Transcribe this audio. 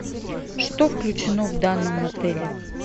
что включено в данном отеле